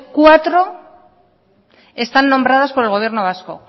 cuatro están nombradas por el gobierno vasco